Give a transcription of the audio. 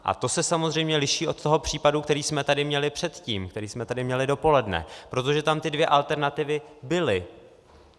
A to se samozřejmě liší od toho případu, který jsme tady měli předtím, který jsme tady měli dopoledne, protože tam ty dvě alternativy byly.